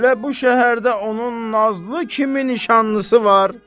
Elə bu şəhərdə onun Nazlı kimi nişanlısı var?